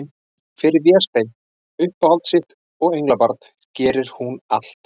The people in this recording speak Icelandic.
Fyrir Véstein, uppáhald sitt og englabarn, gerir hún allt.